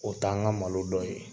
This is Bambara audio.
O t'an ka malo dɔ ye.